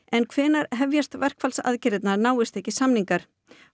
en hvenær hefjast verkfallsaðgerðirnar náist ekki samningar